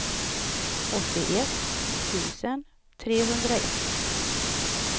åttioett tusen trehundraett